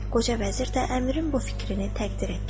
Qoca vəzir də əmirin bu fikrini təqdir etdi.